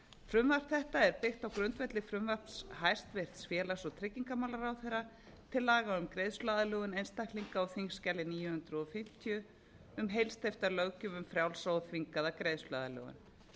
frumvarp þetta er byggt á grundvelli frumvarps hæstvirtur félags og tryggingamálaráðherra til laga um greiðsluaðlögun einstaklinga á þingskjali níu hundruð fimmtíu um heilsteypta löggjöf um frjálsa og þvingaða greiðsluaðlögun